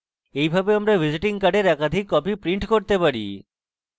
এইভাবে আমরা visiting card একাধিক copies print করতে পারি